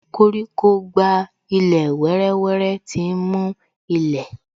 Koríko gba ilẹ̀ wéré wéré, tí ń mú ilẹ̀